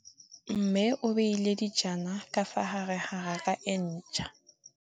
Mmê o beile dijana ka fa gare ga raka e ntšha.